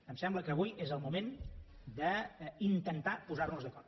em sembla que avui és el moment d’intentar posar nos d’acord